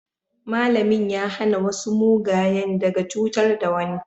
malamin ya hana masu mugayen daga cutar da wani